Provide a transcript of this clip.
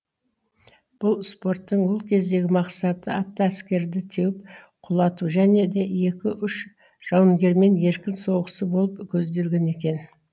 бұл спорттың ол кездегі мақсаты атты әскерді теуіп құлату және де екі үш жауынгермен еркін соғысу болып көзделген екен